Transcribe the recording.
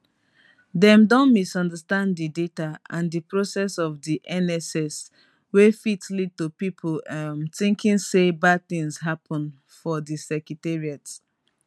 life interruptions dey sometimes teach pass the routines wey we dey hold tight.